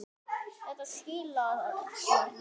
Þetta skilar sér vel.